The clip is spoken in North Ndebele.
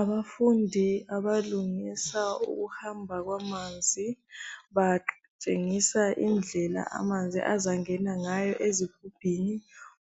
Abafundi abalungisa ukuhamba kwamanzi batshengisa indlela amanzi azangena ngayo ezigubhini